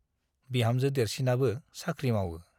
बिहामजो देरसिनाबो साख्रि मावओ ।